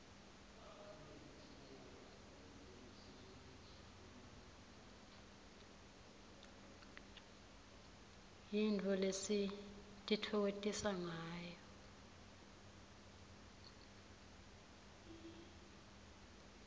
yintfo lesititfokotisangayo